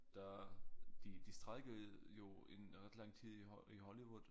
Der de de strejkede jo en ret lang tid i i Hollywood